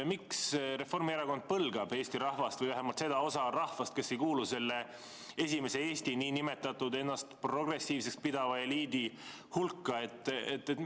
Miks Reformierakond põlgab Eesti rahvast või vähemalt seda osa rahvast, kes ei kuulu nn esimesse Eestisse, ennast progressiivseks pidava eliidi hulka?